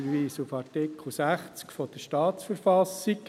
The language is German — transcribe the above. Ich verweise auf Artikel 60 der Staatsverfassung.